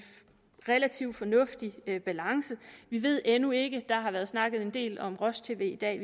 relativt fornuftig balance vi ved endnu ikke der har været snakket en del om roj tv i dag